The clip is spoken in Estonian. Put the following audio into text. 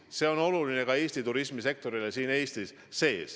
See on oluline ka Eesti turismisektorile.